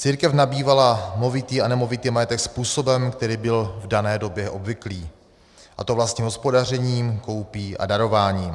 Církev nabývala movitý a nemovitý majetek způsobem, který byl v dané době obvyklý, a to vlastním hospodařením, koupí a darováním.